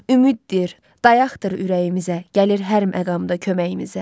Ümiddir, dayaqdır ürəyimizə, gəlir hər məqamda köməyimizə.